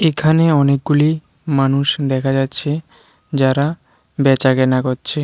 এখানে অনেকগুলি মানুষ দেখা যাচ্ছে যারা বেচাকেনা করছে।